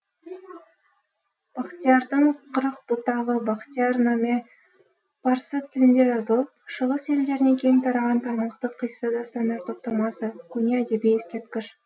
бақтиярдың қырық бұтағы бақтияр наме парсы тілінде жазылып шығыс елдеріне кең тараған тармақты қисса дастандар топтамасы көне әдеби ескерткіш